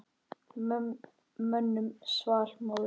Mönnum svall móður.